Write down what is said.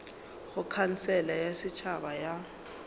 go khansele ya setšhaba ya